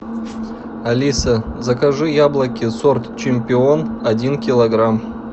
алиса закажи яблоки сорт чемпион один килограмм